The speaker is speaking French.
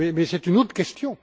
Mais c'est une autre question.